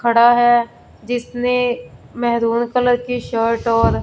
खड़ा है जिसने मैरून कलर की शर्ट और--